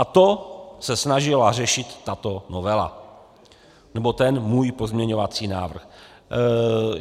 A to se snažila řešit tato novela, nebo ten můj pozměňovací návrh.